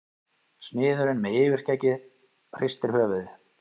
Smiðurinn með yfirskeggið hristir höfuðið.